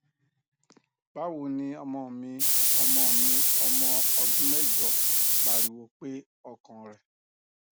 bawo ni ọmọ mi ọmọ mi ọmọ ọdun mẹjọ pariwo pe ọkan rẹ